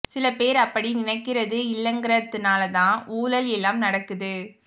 சில பேர் அப்படி நினைக்கறது இல்லங்கறதுனால்தான் ஊழல் எல்லாம் நடக்குது